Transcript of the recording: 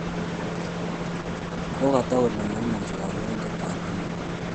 Ko tag kole maimuchi kandoindet ab emet